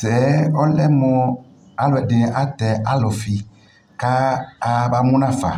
Tɛɛ ɔlɛ mo aluɛde ne atɛ alufi ka aya ba mu nafa